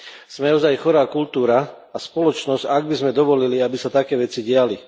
Sme ozaj chorá kultúra a spoločnosť, ak by sme dovolili, aby sa také veci diali.